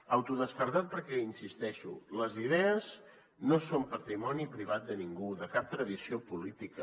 autodescartat perquè hi insisteixo les idees no són patrimoni privat de ningú de cap tradició política